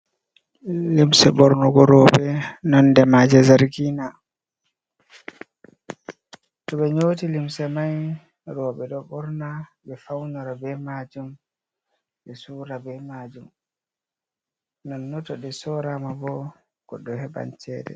Llimse ɓornogo roɓe nonde maje zargina, to ɓe nyoti limse mai roɓe ɗo ɓorna ɓe faunora be majum, ɓe sura be majum, non no to ɗe sorama bo go ɗo heɓan chede.